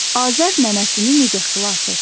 Azər nənəsini necə xilas etdi?